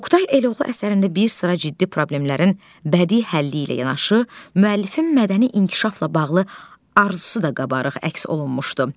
Oqtay Eloğlu əsərində bir sıra ciddi problemlərin bədii həlli ilə yanaşı, müəllifin mədəni inkişafla bağlı arzusu da qabarıq əks olunmuşdu.